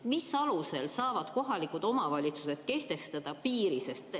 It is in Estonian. Mis alusel saavad kohalikud omavalitsused kehtestada piiri?